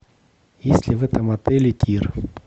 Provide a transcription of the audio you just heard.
есть ли в этом отеле тир